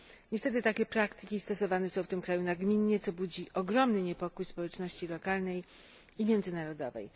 Niestety takie praktyki stosowane są w tym kraju nagminnie, co budzi ogromny niepokój społeczności lokalnej i międzynarodowej.